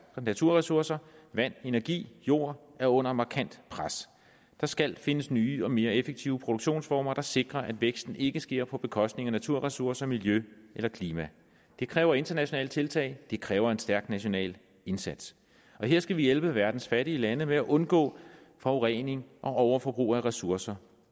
naturressourcer vand energi jord er under markant pres der skal findes nye og mere effektive produktionsformer der sikrer at væksten ikke sker på bekostning af naturressourcer miljø eller klima det kræver internationale tiltag det kræve en stærk national indsats her skal vi hjælpe verdens fattige lande med at undgå forurening og overforbrug af ressourcer